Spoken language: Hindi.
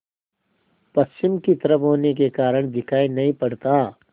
पश्चिम की तरफ होने के कारण दिखाई नहीं पड़ता